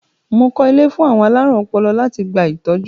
Mo kọ́ ilé fún àwọn alárùn ọlọ́jọ́ láti gba ìtọ́jú.